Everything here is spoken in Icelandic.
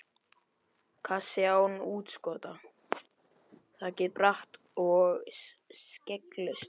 Kassi, án útskota, þakið bratt og skegglaust.